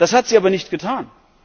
Das hat sie aber nicht getan!